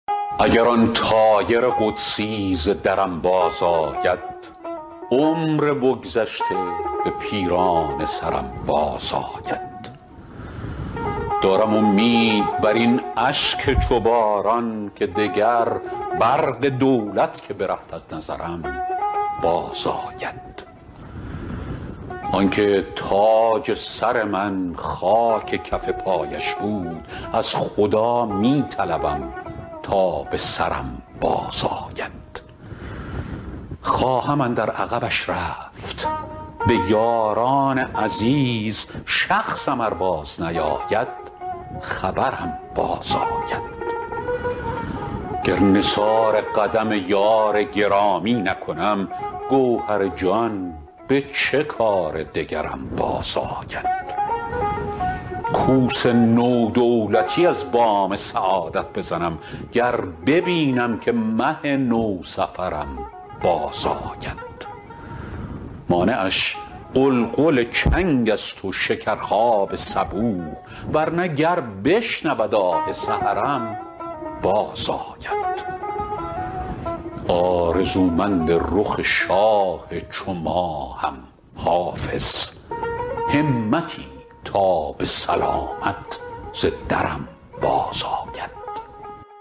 اگر آن طایر قدسی ز درم بازآید عمر بگذشته به پیرانه سرم بازآید دارم امید بر این اشک چو باران که دگر برق دولت که برفت از نظرم بازآید آن که تاج سر من خاک کف پایش بود از خدا می طلبم تا به سرم بازآید خواهم اندر عقبش رفت به یاران عزیز شخصم ار بازنیاید خبرم بازآید گر نثار قدم یار گرامی نکنم گوهر جان به چه کار دگرم بازآید کوس نو دولتی از بام سعادت بزنم گر ببینم که مه نوسفرم بازآید مانعش غلغل چنگ است و شکرخواب صبوح ور نه گر بشنود آه سحرم بازآید آرزومند رخ شاه چو ماهم حافظ همتی تا به سلامت ز درم بازآید